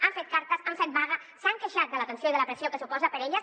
han fet cartes han fet vaga s’han queixat de la tensió i de la pressió que suposa per a elles